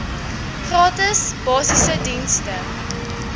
gratis basiese dienste